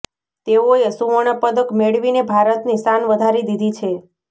તેવોએ સુવર્ણ પદક મેળવીને ભારતની શાન વધારી દીધી છે